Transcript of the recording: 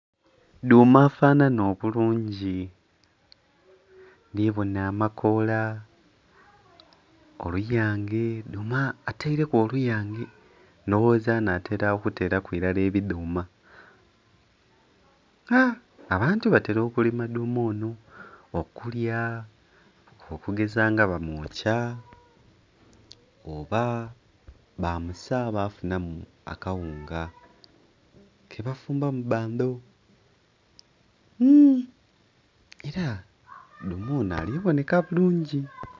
Dhuuma afanana obulungi! Ndi bona amakoola oluyange, dhuuma ataireku oluyange ndhowoza anatera okuteraku ilala ebidhuuma. Abantu batera okulima dhuuma ono okulya okugeza nga bamwokya, oba baamusa bafunamu akawunga kebafumbamu bando...hmm...era dhuuma onho ali bonheka bulungi